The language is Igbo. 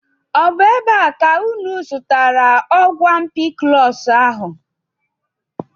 Ọ bụ n'ebe a ka unu zụtara ọgwụ ampiclọs ahụ?